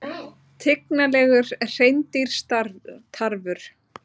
Tignarlegur hreindýrstarfur